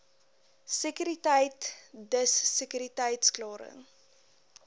sekuriteit dis sekuriteitsklaring